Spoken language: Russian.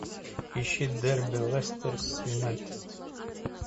ищи дерби лестер с юнайтед